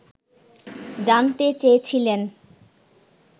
জানতে চেয়েছিলেন